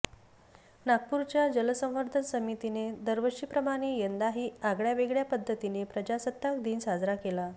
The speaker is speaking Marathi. नागपूरच्या जल संवर्धन समितीने दरवर्षी प्रमाणे यंदाही आगळ्यावेगळ्या पद्धतीने प्रजासत्ताक दिन साजरा केला